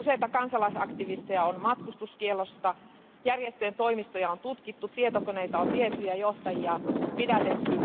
Useita kansalaisaktivisteja on matkustuskiellossa, järjestöjen toimistoja on tutkittu, tietokoneita on viety ja johtajia pidätetty.